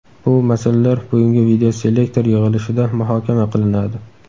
Bu masalalar bugungi videoselektor yig‘ilishida muhokama qilinadi.